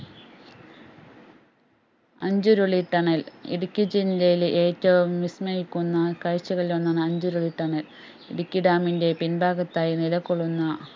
Anchuruli tunnel Idukki ജില്ലയിലെ ഏറ്റവും വിസ്മയിക്കുന്ന കാഴ്ചകളിൽ ഒന്നാണ് അഞ്ചിരുളി tunnel ഇടുക്കി dam ൻറെ പിൻഭാഗത്തായി നിലകൊള്ളുന്ന